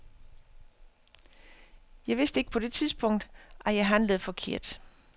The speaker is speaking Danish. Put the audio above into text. Jeg vidste ikke på det tidspunkt, at jeg handlede forkert.